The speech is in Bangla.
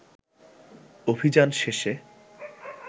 অভিযান শেষে